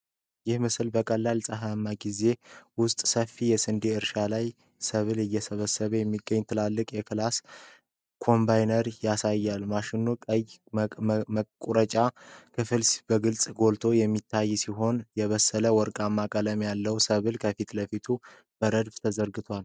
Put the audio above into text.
ይህ ምስል በቀለለ ፀሐያማ ጊዜ ውስጥ ሰፋፊ የስንዴ እርሻዎች ላይ ሰብል እየሰበሰበ የሚገኝ ትልቅ የክላስ(Claas) ኮምባይነር ያሳያል። የማሽኑ ቀይ መቁረጫ ክፍል በግልጽ ጎልቶ የሚታይ ሲሆን፣ የበሰለና ወርቃማ ቀለም ያለው ሰብል ከፊት ለፊቱ በረድፍ ተዘርግቷል።